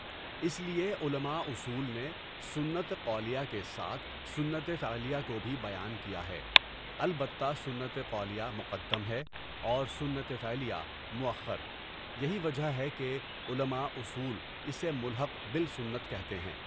اس لیے علما اصول نے سنت قولیہ کے ساتھ سنت فعلیہ کو بھی بیان کیا ہے، البتہ سنت قولیہ مقدم ہے اور سنت فعلیہ مؤخر ،یہی وجہ ہے کہ علما اصول اسے ملحق بالسنۃ کہتے ہیں.